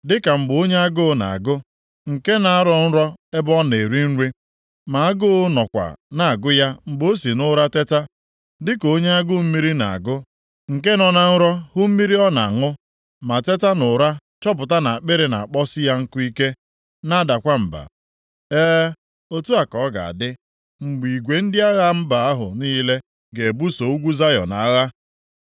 Dịka mgbe onye agụụ na-agụ, nke na-arọ nrọ ebe ọ na-eri nri, ma agụụ nọkwa na-agụ ya mgbe o si nʼụra teta. Dịka onye agụụ mmiri na-agụ, nke nọ na nrọ hụ mmiri ọ na-aṅụ, ma teta nʼụra chọpụta na akpịrị na-akpọsị ya nkụ ike, na-adakwa mba. E, otu a ka ọ ga-adị mgbe igwe ndị agha mba ahụ niile ga-ebuso ugwu Zayọn agha.